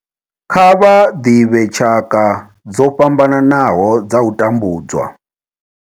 Kha vha ḓivhe tshaka dzo fhambanaho dza u tambudzwa.